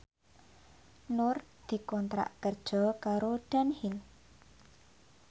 Nur dikontrak kerja karo Dunhill